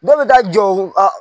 Dɔw bɛ taa jɔw a